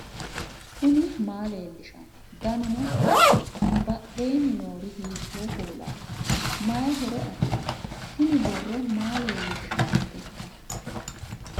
knuni maa leellishanno ? danano maati ? badheenni noori hiitto kuulaati ? mayi horo afirino ? tini borro maa leellishshannoteikka